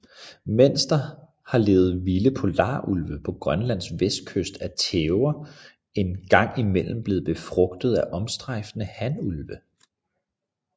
Mens der har levet vilde polarulve på Grønlands vestkyst er tæver en gang imellem blevet befrugtet af strejfende hanulve